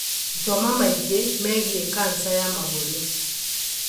Thoma maingĩ megiĩ kanja ya mahũri